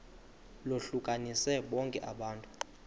lohlukanise bonke abantu